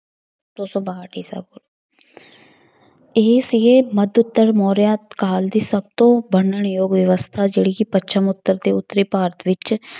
ਦੋ ਸੌ ਬਾਹਠ ਈਸਾ ਪੂ~ ਇਹ ਸੀਗੇ ਮੱਧ ਉੱਤਰ ਮੌਰੀਆ ਕਾਲ ਦੇ ਸਭ ਤੋਂ ਵਰਣਨ ਯੋਗ ਵਿਵਸਥਾ ਜਿਹੜੀ ਕਿ ਪੱਛਮ ਉੱਤਰ ਦੇ ਉੱਤਰੀ ਭਾਰਤ ਵਿੱਚ